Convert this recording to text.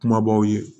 Kumabaw ye